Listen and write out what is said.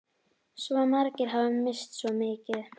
Svo margir hafa misst svo mikið.